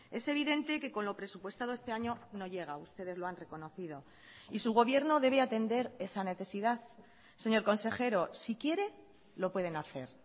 es evidente que con lo presupuestado este año no llega ustedes lo han reconocido y su gobierno debe atender esa necesidad señor consejero si quiere lo pueden hacer